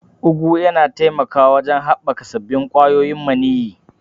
Ugu yana taimakawa wajen haɓaka sabbin ƙwayoyin maniyyi.